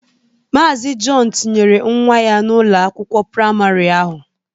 Maazi Jọn tinyere nwa ya n'Ụlọ akwụkwọ praịmarị ahụ.